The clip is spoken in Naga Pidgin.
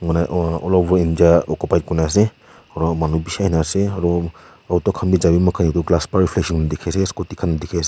aro many bishi ahina sdse auro auto khan scooty khan dekhi ase.